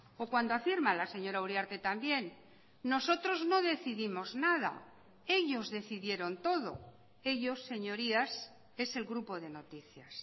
o cuando afirma la señora uriarte también nosotros no decidimos nada ellos decidieron todo ellos señorías es el grupo de noticias